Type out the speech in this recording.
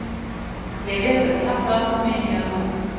Jeg vet at de har platene mine hjemme.